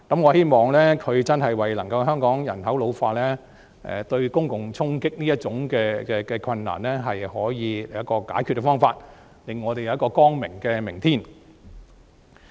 我希望他能夠就香港人口老化對公共財政帶來衝擊這個問題，尋求解決方法，令我們有一個光明的明天。